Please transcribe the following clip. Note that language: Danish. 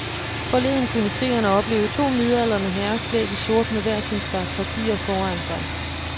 Forleden kunne seerne opleve to midaldrende herrer klædt i sort med hver sin stak papirer foran sig.